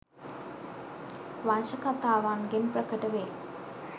වංශකතාවන්ගෙන් ප්‍රකට වේ.